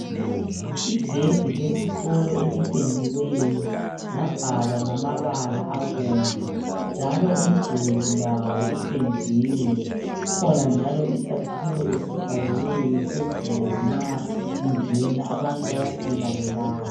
Igedi lesikolo elipendiweyo labhalwa ngamabala abomvu, njalo umduli lawo upendiwe. Kukhona njalo isakhiwo esibhaliweyo phezulu nxa ungena. Abantu bayafika bebala.